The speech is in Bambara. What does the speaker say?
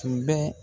Tun bɛ